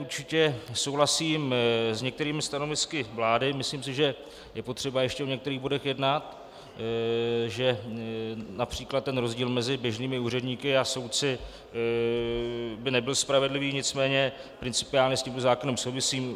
Určitě souhlasím s některými stanovisky vlády, myslím si, že je potřeba ještě o některých bodech jednat, že například ten rozdíl mezi běžnými úředníky a soudci by nebyl spravedlivý, nicméně principiálně s tímto zákonem souhlasím.